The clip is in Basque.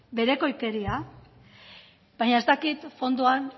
berekoikeria baina ez dakit fondoan